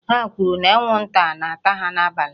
Ha kwuru na anwụnta na-ata ha n'abalị